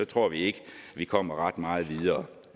tror vi ikke at vi kommer ret meget videre